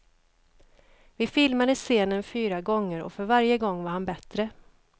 Vi filmade scenen fyra gånger och för varje gång var han bättre.